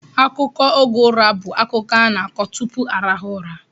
Akụkọ oge ụra bụ akụkọ a na-akọ tupu arahụ ụra.